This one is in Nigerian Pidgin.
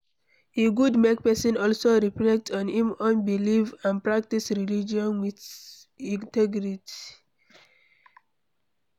E good make person also reflect on im own beliefs and practice religion with integrity